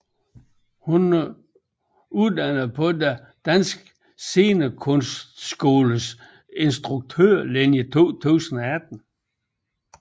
Hun er uddannet fra Den Danske Scenekunstskoles instruktørlinje 2018